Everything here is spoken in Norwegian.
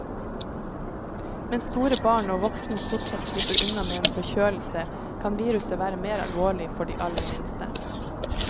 Mens store barn og voksne stort sett slipper unna med en forkjølelse, kan viruset være mer alvorlig for de aller minste.